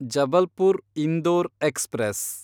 Jabalpur Indore express